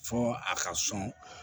Fɔ a ka sɔn